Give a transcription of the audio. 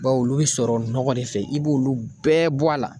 Baw olu bɛ sɔrɔ nɔgɔ de fɛ i b'olu bɛɛ bɔ a la.